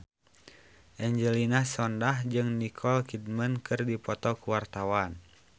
Angelina Sondakh jeung Nicole Kidman keur dipoto ku wartawan